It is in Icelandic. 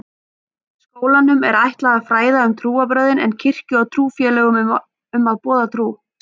Skólanum er ætlað að fræða um trúarbrögðin en kirkju og trúfélögum að boða trú.